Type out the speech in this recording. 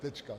Tečka.